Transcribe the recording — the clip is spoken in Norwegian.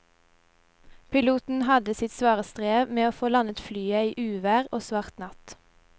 Piloten hadde sitt svare strev med å få landet flyet i uvær og svart natt.